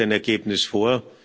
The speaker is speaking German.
Nun liegt ein Ergebnis vor.